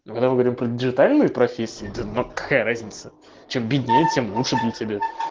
ну когда мы говорим про диджитальные профессии да ну какая разница чем беднее тем лучше для тебя